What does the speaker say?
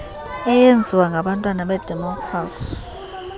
eyenziwa ngabantwana bedemokrasi